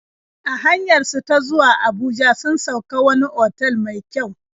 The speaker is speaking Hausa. A hanyar su ta zuwa Abuja sun sauk a wani otal mai kyau.